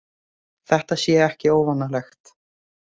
Þetta sé ekki óvanalegt